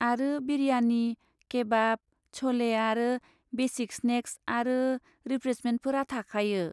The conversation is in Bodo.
आरो बिरयानि, केबाब, च'ले आरो बेसिक स्नेक्स आरो रिफ्रेशमेन्टफोरा थाखायो।